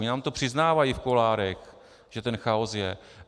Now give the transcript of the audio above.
Oni nám to přiznávají v kuloárech, že ten chaos je.